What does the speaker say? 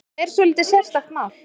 Þetta er svolítið sérstakt mál.